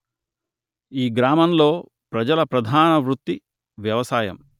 ఈ గ్రామంలో ప్రజల ప్రధాన వృత్తి వ్యవసాయం